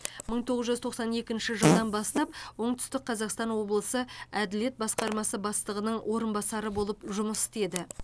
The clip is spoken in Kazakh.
мың тоғыз жүз тоқсан екінші жылдан бастап оңтүстік қазақстан облысы әділет басқармасы бастығының орынбасары болып жұмыс істеді